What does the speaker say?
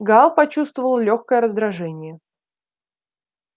гаал почувствовал лёгкое раздражение